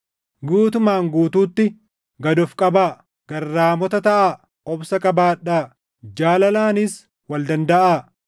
Guutumaan guutuutti gad of qabaa; garraamota taʼaa; obsa qabaadhaa; jaalalaanis wal dandaʼaa.